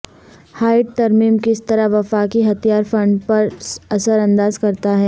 hide ترمیم کس طرح وفاقی ہتھیار فنڈ پر اثر انداز کرتا ہے